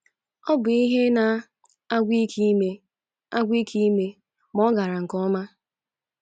Ọ bụ ihe na - agwụ ike ime agwụ ike ime, ma o gara nke ọma.